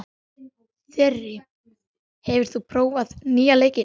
Þyri, hefur þú prófað nýja leikinn?